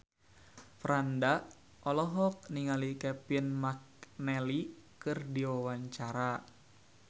Franda olohok ningali Kevin McNally keur diwawancara